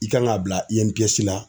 I kan ka bila la